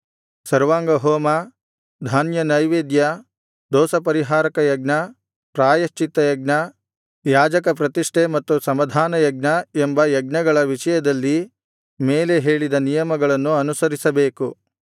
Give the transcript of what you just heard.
ಸರ್ವಾಂಗಹೋಮ ಧಾನ್ಯನೈವೇದ್ಯ ದೋಷಪರಿಹಾರಕ ಯಜ್ಞ ಪ್ರಾಯಶ್ಚಿತ್ತಯಜ್ಞ ಯಾಜಕ ಪ್ರತಿಷ್ಠೆ ಮತ್ತು ಸಮಾಧಾನಯಜ್ಞ ಎಂಬ ಯಜ್ಞಗಳ ವಿಷಯದಲ್ಲಿ ಮೇಲೆ ಹೇಳಿದ ನಿಯಮಗಳನ್ನು ಅನುಸರಿಸಬೇಕು